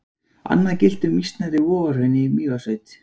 Annað gilti um mýsnar í Vogahrauni í Mývatnssveit.